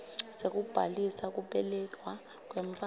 sekubhalisa kubelekwa kwemntfwana